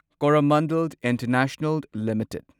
Coromandel international limited